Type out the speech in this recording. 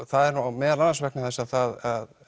það er meðal annars vegna þess að